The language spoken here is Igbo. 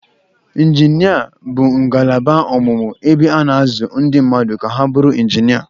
Injinia bụ ngalaba ọmụmụ ebe a na-azụ ndị mmadụ ka ha bụrụ injinia.